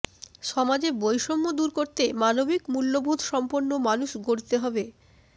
সমাজে বৈষম্য দূর করতে মানবিক মূল্যবোধসম্পন্ন মানুষ গড়তে হবে